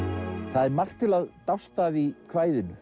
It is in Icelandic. það er margt til að dást að í kvæðinu